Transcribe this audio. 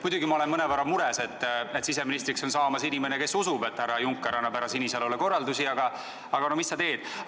Muidugi ma olen mõnevõrra mures, et siseministriks on saamas inimene, kes usub, et härra Juncker jagab härra Sinisalule korraldusi, aga no mis sa teed.